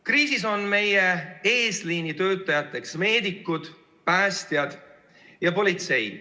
Kriisis on meie eesliinitöötajateks meedikud, päästjad ja politseinikud.